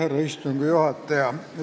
Austatud istungi juhataja!